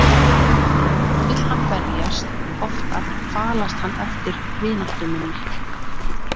Stundum vill hann berjast, oftar falast hann eftir vináttu minni.